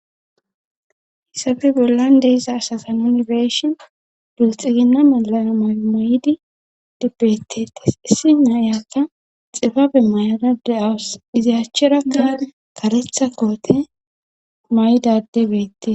Hissafe bollan deiza asasanunbeshin dulxigina malana maymoydi dibbetetes issi nayakka xibabe mayra de'awus iziyachcherakka karetha koote maydade beette.